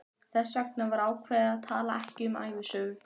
Þess vegna var ákveðið að tala ekki um ævisögu